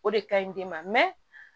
O de ka ɲi den ma